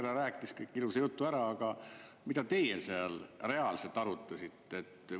Ministrihärra rääkis ilusa jutu ära, aga mida te seal reaalselt arutasite?